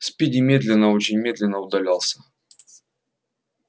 спиди медленно очень медленно удалялся